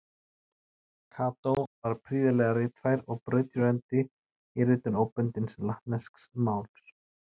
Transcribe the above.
Kató var prýðilega ritfær og brautryðjandi í ritun óbundins latnesks máls.